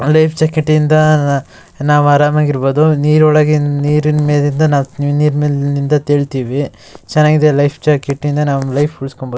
ಆ life jacket ಇಂದ ನಾವ್ ಆರಾಮಾಗಿರಬಹುದು. ನೀರ್ ಒಳಗಿನ್ ನೀರಿನ ಮೇಲಿಂದ ನಾವ್ ನೀರ್ ಮೇಲಿಂದ ತೇಲ್ತಿವಿ ಚೆನ್ನಾಗಿದೆ ಲೈಫ್ ಜಾಕೆಟ್ ಇಂದ ನಾವು ಲೈಫ್ ಉಳ್ಸ್ಕೊಬಹುದು.